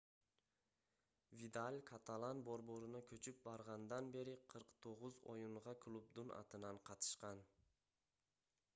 видаль каталан борборуна көчүп баргандан бери 49 оюнга клубдун атынан катышкан